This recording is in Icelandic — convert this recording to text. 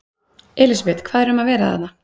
Elísabet, hvað er um að vera þarna?